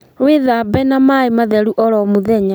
Wĩthambe na maĩ matheru oro mũthenya